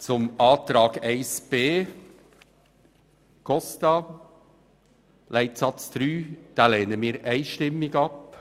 Zu Planungserklärung 1b SAK/Costa zu Leitsatz 3: Diese lehnen wir einstimmig ab.